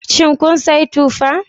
Shin kun sayi tufa?